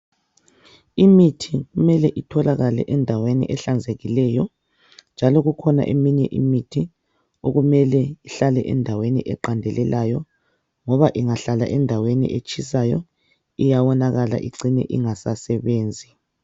Imithi imele itholakale endaweni ehlanzekileyo .Njalo kukhona eminye imithi okumele ihlale endaweni eqandelelayo .Ngoba ingahlala endaweni etshisayo iyawonakala icine ingasasebenzi .